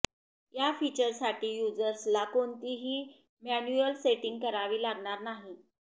या फीचरसाठी युजर्सला कोणतीही मॅन्युअल सेटिंग करावी लागणार नाही